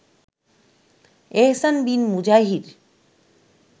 এহসান bin মুজাহির